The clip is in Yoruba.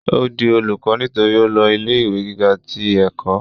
ó di olùkọ́ nítorí ó lọ ilé ìwé gíga ti ẹ̀kọ́